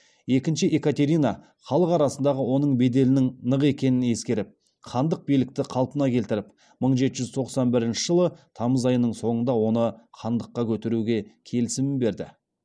екінші екатерина халық арасындағы оның беделінің нық екенін ескеріп хандық билікті қалпына келтіріп мың жеті жүз тоқсан бірінші жылы тамыз айының соңында оны хандыққа көтеруге келісімін берді